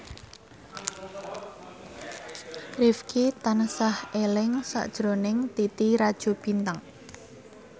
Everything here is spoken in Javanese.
Rifqi tansah eling sakjroning Titi Rajo Bintang